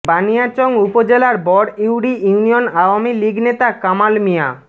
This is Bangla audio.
বানিয়াচং উপজেলার বরইউরি ইউনিয়ন আওয়ামী লীগ নেতা কামাল মিয়া